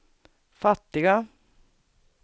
fattiga